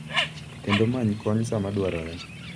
Kendo many kony sama dwarore.